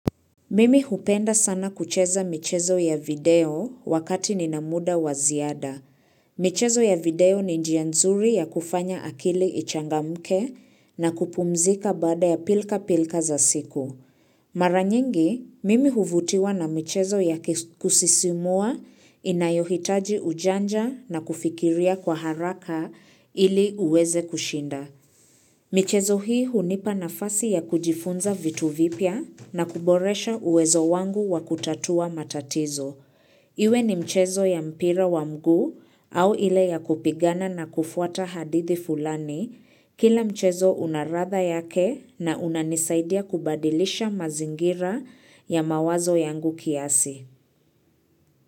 Mimi hupenda sana kucheza michezo ya video wakati nina muda wa ziada. Michezo ya video ni njia nzuri ya kufanya akili ichangamke na kupumzika baada ya pilka-pilka za siku. Mara nyingi, mimi huvutiwa na michezo ya kusisimua inayohitaji ujanja na kufikiria kwa haraka ili uweze kushinda. Michezo hii hunipa nafasi ya kujifunza vitu vipya na kuboresha uwezo wangu wa kutatua matatizo. Iwe ni mchezo ya mpira wa mguu au ile ya kupigana na kufuata hadithi fulani, kila mchezo una ladha yake na unanisaidia kubadilisha mazingira ya mawazo yangu kiasi.